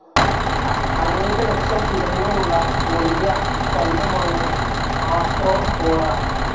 അനേക ലക്ഷം ഇനങ്ങളുള്ള വലിയ ഫൈലമാണ് ആർത്രോപോഡാ.